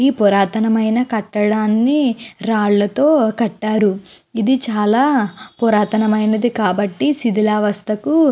ఈ పురతనని కటడం రాలతో కటారు. ఇది చాల పురాతనం అయినది కాబటి ఇది సిడిల వస్తకు--